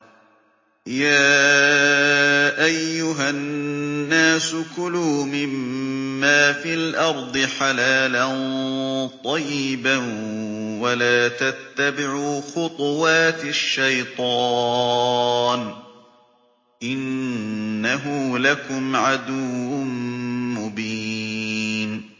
يَا أَيُّهَا النَّاسُ كُلُوا مِمَّا فِي الْأَرْضِ حَلَالًا طَيِّبًا وَلَا تَتَّبِعُوا خُطُوَاتِ الشَّيْطَانِ ۚ إِنَّهُ لَكُمْ عَدُوٌّ مُّبِينٌ